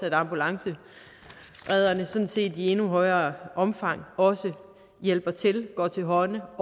at ambulanceredderne sådan set i endnu højere omfang også hjælper til går til hånde